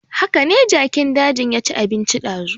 Hakane jakin dajin ya ci abinci dazu